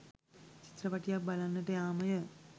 චිත්‍රපටියක් බලන්නට යාමය.